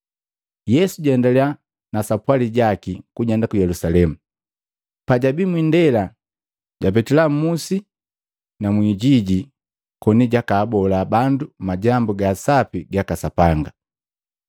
Yesu jaendaliya na sapwali jaki kujenda ku Yelusalemu. Pajabii mwindela, japetila mmusi na mwijiji koni jaka abola bandu majambu ga sapi gaka Sapanga.